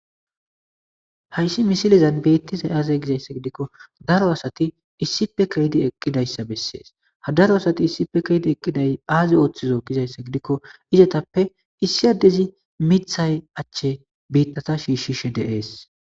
Hayssi misilezan beettizay aaze gizayssa gidikko daro asati issipe keydi eqqidayssa bessees ha daro asati issipe keedi eqqiday aazi ooththizo gizayssa gidikko izetappe issi addezi mithay achche biittata shiishishe deees.